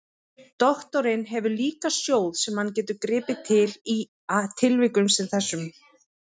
Doktorinn hefur líka sjóð sem hann getur gripið til í tilvikum sem þessum.